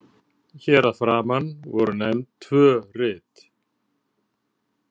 Hér að framan voru nefnd tvö rit.